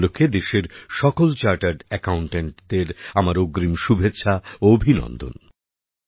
সেই উপলক্ষে দেশের সকল চার্টার্ড অ্যাকাউন্ট্যান্টদের আমার অগ্রিম শুভেচ্ছা ও অভিনন্দন